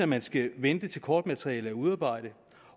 man skal vente til kortmaterialet er udarbejdet